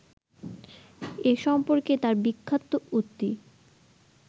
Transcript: এ সম্পর্কে তাঁর বিখ্যাত উক্তি